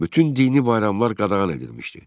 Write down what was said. Bütün dini bayramlar qadağan edilmişdi.